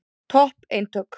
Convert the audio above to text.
Topp eintök.